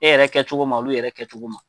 E yɛrɛ kɛcogo ma olu yɛrɛ kɛcogo ma.